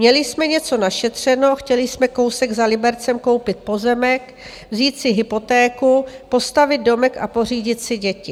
Měli jsme něco našetřeno, chtěli jsme kousek za Libercem koupit pozemek, vzít si hypotéku, postavit domek a pořídit si děti.